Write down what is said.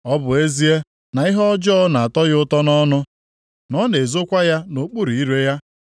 “Ọ bụ ezie na ihe ọjọọ na-atọ ya ụtọ nʼọnụ, na ọ na-ezokwa ya nʼokpuru ire ya;